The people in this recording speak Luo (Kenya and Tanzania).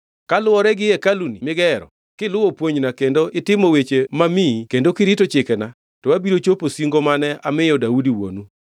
“Kaluwore gi hekaluni migero, kiluwo puonjna kendo itimo weche mamiyi kendo kirito chikena, to abiro chopo singo mane amiyo Daudi wuonu.